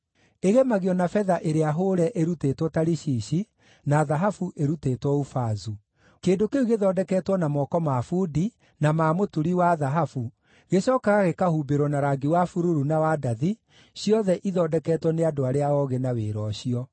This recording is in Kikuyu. Ĩgemagio na betha ĩrĩa hũũre ĩrutĩtwo Tarishishi, na thahabu ĩrutĩtwo Ufazu. Kĩndũ kĩu gĩthondeketwo na moko ma bundi, na ma mũturi wa thahabu gĩcookaga gĩkahumbĩrwo na rangi wa bururu na wa ndathi, ciothe ithondeketwo nĩ andũ arĩa oogĩ na wĩra ũcio.